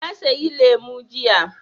Na sayi lemu jiya.